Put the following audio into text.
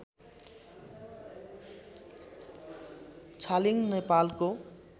छालिङ नेपालको